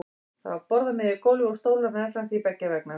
Það var borð á miðju gólfi og stólar meðfram því beggja vegna.